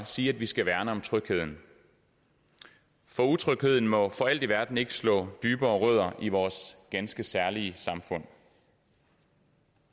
sige at vi skal værne om trygheden for utrygheden må for alt i verden ikke slå dybere rødder i vores ganske særlige samfund